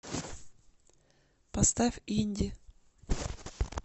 поставь инди